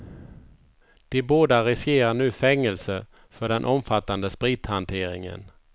De båda riskerar nu fängelse för den omfattande sprithanteringen.